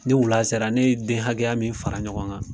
Ni wula sera, ne ye den hakɛya min fara ɲɔgɔn kan